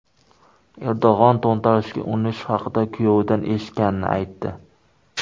Erdo‘g‘on to‘ntarishga urinish haqida kuyovidan eshitganini aytdi.